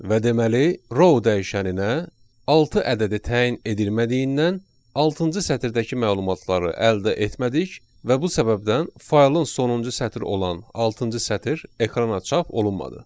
Və deməli, row dəyişəninə altı ədədi təyin edilmədiyindən altıncı sətirdəki məlumatları əldə etmədik və bu səbəbdən faylın sonuncu sətri olan altıncı sətr ekrana çap olunmadı.